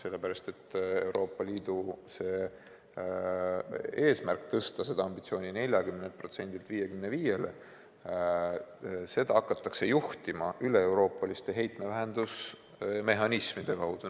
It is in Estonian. Sellepärast et Euroopa Liidu eesmärki tõsta ambitsioon 40%-lt 55%-le hakatakse juhtima üleeuroopaliste heitmevähenduse mehhanismide kaudu.